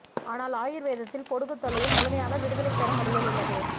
ஆனால் ஆயுர்வேதத்தில் பொடுகுத் தொல்லையில் முழுமையாக விடுதலைத் தரும் வழிகள் உள்ளது